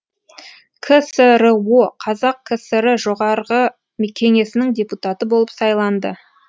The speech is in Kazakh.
ксро қазақ кср жоғарғы кеңесінің депутаты болып сайланды